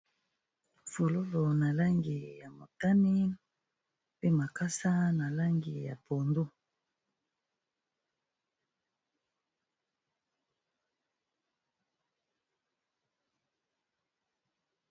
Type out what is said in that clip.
Fololo na langi ya motani mpe makasa na langi ya pondo.